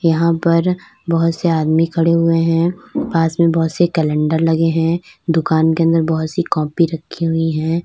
यहां पर बहुत से आदमी खड़े हुए हैं और पास में बहुत से कैलेंडर लगे हैं दुकान के अंदर बहुत सी कॉपी रखी हुई हैं।